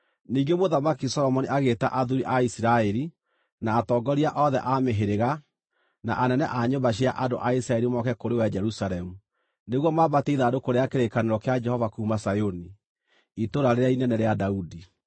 Ningĩ Mũthamaki Solomoni agĩĩta athuuri a Isiraeli, na atongoria othe a mĩhĩrĩga, na anene a nyũmba cia andũ a Isiraeli moke kũrĩ we Jerusalemu, nĩguo maambatie ithandũkũ rĩa kĩrĩkanĩro kĩa Jehova kuuma Zayuni, Itũũra rĩrĩa inene rĩa Daudi.